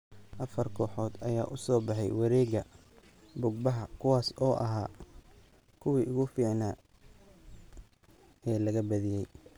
Afar kooxood ayaa u soo baxay wareegga bug-baxa kuwaas oo ahaa kuwii ugu fiicnaa ee laga badiyay.